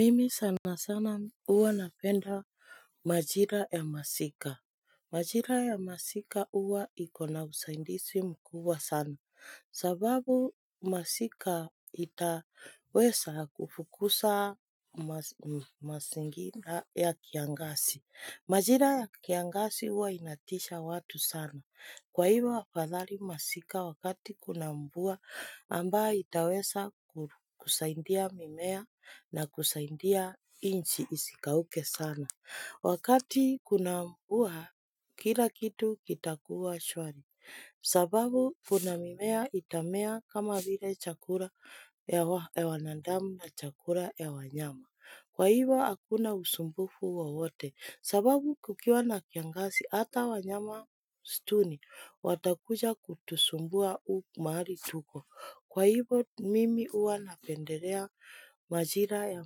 Mimi sana sana huwa napenda majira ya masika. Majira ya masika huwa iko na usaidizi mkuwa sana. Sababu masika itaweza kufukuza mazingina ya kiangazi. Majira ya kiangasi uwa inatisha watu sana. Kwa hivyo afadhali masika wakati kuna mvua ambayo itaweza kusaidia mimea na kusaidia nchi isikauke sana. Wakati kuna mvua kila kitu kitakuwa shwari. Sababu kuna mimea itamea kama vile chakula ya wanadamu na chakula ya wanyama. Kwa hiyvo hakuna usumbufu wowote sababu kukiwa na kiangazi hata wanyama wa msituni watakuja kutusumbua mahali tuko. Kwa hivyo mimi huwa napendelea majira ya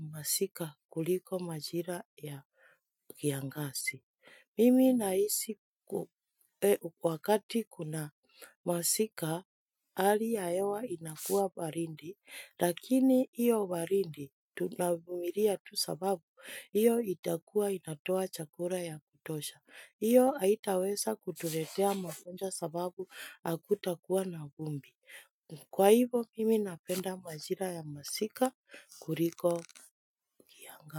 masika kuliko majira ya kiangazi. Mimi nahisi wakati kuna masika, hali ya hewa inakuwa baridi, lakini hiyo baridi, tunavumilia tu sababu, hiyo itakuwa inatoa chakula cha kutosha. Hiyo haitaweza kutuletea mafua sababu hakutakuwa na vumbi. Kwa hivyo, mimi napenda majira ya masika kuliko kiangazi.